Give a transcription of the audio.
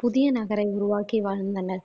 புதிய நகரை உருவாக்கி வாழ்ந்தனர்